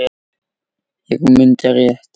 Ég mundi rétt.